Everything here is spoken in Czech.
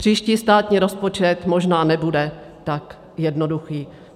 Příští státní rozpočet možná nebude tak jednoduchý.